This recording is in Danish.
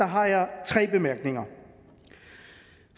har jeg tre bemærkninger